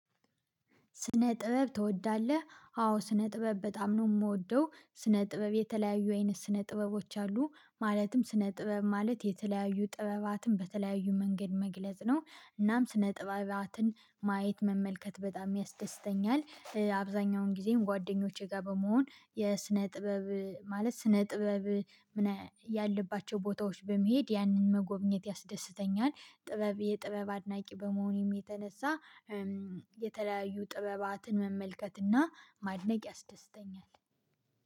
ስነ ጥበብ ትወዳለህ? አዎ ስነ ጥበብ በጣም ነው የምወደው ስነ ጥበብ የተለያዩ አይነት ስነ ጥበቦች አሉ። ማለትም ስነ ጥበብ ማለት የተለያዩ ጥበባትን በተለያዩ መንገድ መግለጽ ነው። እናም ስነ ጥበብአትን ማየት መመልከት በጣም ያስደስተኛል፤ አብዛኛውን ጊዜም ጓደኞቼ ጋር በመሆን የስነ ጥበብ ማለት ስነ ጥበብ ያለባቸው ቦታዎች በመሄድ ያንን መጎብኘት ያስደስተኛል። ጥበብ የጥበብ አድናቂ በመሆኔም የተነሳ። የተለያዩ ጥበባትን መመልከትና ማድነቅ ያስደስተኛል